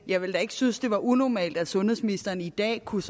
jeg ville da ikke synes det var unormalt hvis sundhedsministeren i dag kunne